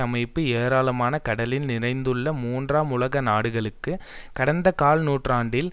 அமைப்பு ஏராளமான கடனில் நிறைந்துள்ள மூன்றாம் உலக நாடுகளுக்கு கடந்த கால் நூற்றாண்டில்